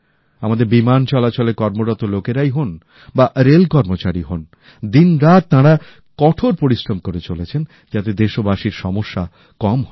আমাদের বিমান চলাচল ক্ষেত্রে কর্মরত লোকেরাই হোন বা রেল কর্মচারী হোন দিনরাত তাঁরা কঠোর পরিশ্রম করে চলেছেন যাতে দেশবাসীর সমস্যা কম হয়